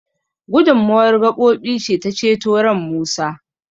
gudummawar gabobi ce ta ceto ran Musa